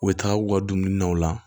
U bɛ taa u ka dumuni na u la